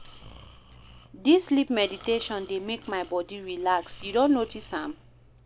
Dis sleep meditation dey make my body relax, you don notice am?